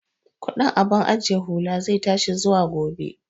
Kudin abun ajiye hula zai tashi zuwa gobe